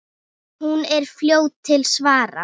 Hún er fljót til svars.